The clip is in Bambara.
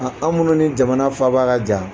aw minnu ni jamana faaba ka jan